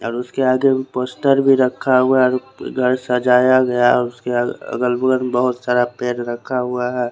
और उसके आगे पोस्टर भी रखा हुआ है घर सजाया गया उसके अगल बगल बोहोत सारा पेड़ रखा हुआ है ।